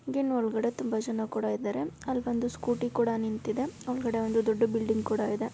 ಗಿನ್ ಒಳಗಡೆ ತುಂಬಾ ಜನ ಕೂಡ ಇದ್ದಾರೆ. ಅಲ್ ಒಂದು ಸ್ಕೂಟಿ ಕೂಡ ನಿಂತಿದೆ ಒಳಗಡೆ ಒಂದು ದೊಡ್ಡ್ ಬಿಲ್ಡಿಂಗ್ ಕೂಡ ಇದೆ.